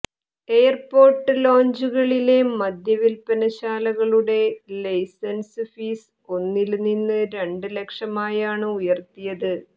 airport ലോഞ്ചുകളിലെ മദ്യ വില്പന ശാലകളുടെ ലൈസന്സ് ഫീസ് ഒന്നില് നിന്ന് രണ്ടു ലക്ഷമായാണ് ഉയര്ത്തിയത്